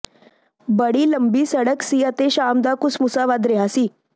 ਬੜੀ ਲੰਮੀ ਸੜਕ ਸੀ ਅਤੇ ਸ਼ਾਮ ਦਾ ਘੁਸਮੁਸਾ ਵੱਧ ਰਿਹਾ ਸੀ